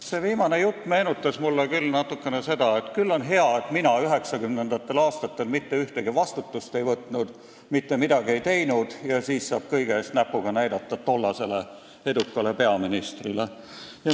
See viimane jutt meenutas mulle natukene seda, et küll on hea, et mina 1990. aastatel üldse vastutust ei võtnud, mitte midagi ei teinud – nii saab kõige puhul tollase eduka peaministri peale näpuga näidata.